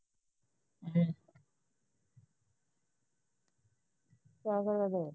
ਕਿਆ ਕਰਨ ਦੇ